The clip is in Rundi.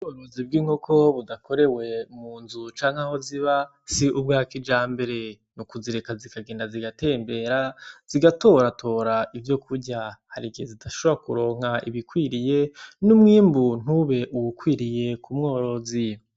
Ubworozi bw'inkoko budakorewe mu nzu canke aho ziba, si ubwa kijambere. Ni ukuzireka zikagenda zigatembera, zigatoratora ivyokurya. Hari igihe zidashobora kuronka ibikwiriye, n'umwimbu ntube uwukwiriye ku mworozi.